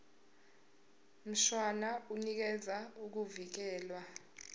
mshwana unikeza ukuvikelwa